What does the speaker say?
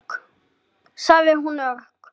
sagði hún örg.